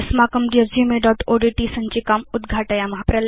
अस्माकं resumeओड्ट् सञ्चिकाम् उद्घाटयेम